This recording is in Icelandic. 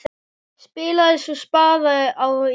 Spilaði svo spaða á tíuna!